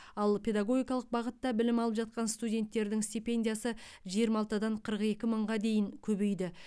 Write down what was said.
ал педагогикалық бағытта білім алып жатқан студенттердің стипендиясы жиырма алтыдан қырық екі мыңға дейін көбейді